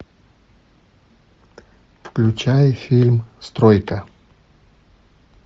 включай фильм стройка